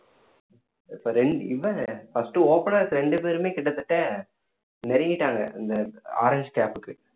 இப்போ இவன் first openers ரெண்டு பேருமே கிட்டத்தட்ட நெருங்கிட்டாங்க இந்த